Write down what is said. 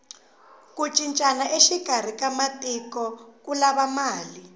ku cincana exikarhi ka matiko ku lava mali